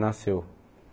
Nasceu.